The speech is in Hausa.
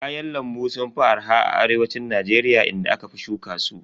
Kayan lambu sun fi arha a arewacin Najeriya inda aka fi shuka su.